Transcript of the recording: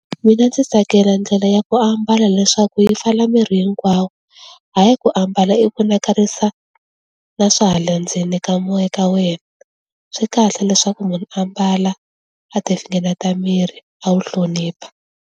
Mina ndzi tsakela ndlela ya ku ambala leswaku yi mpfala miri hinkwawo, hayi ku ambala i vonakarisa na swa hala ndzeni ka n'we ka wena, swi kahle leswaku munhu ambala a ti finengeta miri a wu hlonipha.